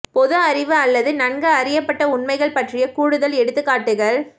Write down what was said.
பொது அறிவு அல்லது நன்கு அறியப்பட்ட உண்மைகள் பற்றிய கூடுதல் எடுத்துக்காட்டுகள்